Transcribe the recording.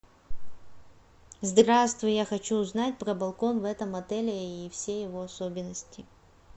здравствуй я хочу узнать про балкон в этом отеле и все его особенности